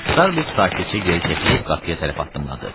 Starbek sakitcə geri çəkilib qapıya tərəf addımladı.